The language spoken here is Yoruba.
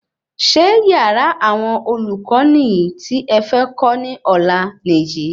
Ṣé yàrá awọn olùkọ niyi ti é fẹ kó ní ọlá Nìyí?